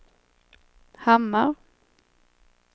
Hammar